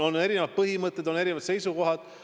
On erinevad põhimõtted, on erinevad seisukohad.